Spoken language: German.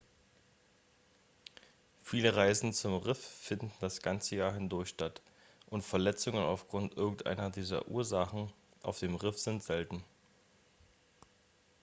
viele reisen zum riff finden das ganze jahr hindurch statt und verletzungen aufgrund irgendeiner dieser ursachen auf dem riff sind selten.x